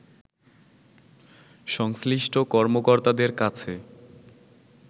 সংশ্লিষ্ট কর্মকর্তাদের কাছে